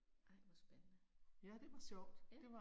Ej hvor spændende. Ja